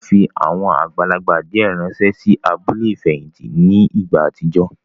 Wọ́n fi àwọn àgbàlagbà díẹ̀ ránsẹ́ sí abúlé ìfẹ̀hìntì ní ìgbà àtijọ́